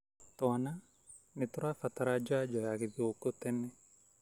Twana nĩtũrabatara janjo ya githũku tene.